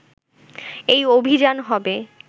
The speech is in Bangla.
এই অভিযান হবে